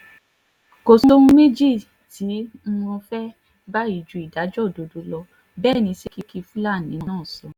kò sóhun méjì tí um mo fẹ́ báyìí ju ìdájọ́ òdodo lọ bẹ́ẹ̀ ni sẹ́ríkì um fúlàní náà sọ